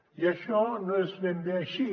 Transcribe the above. i això no és ben bé així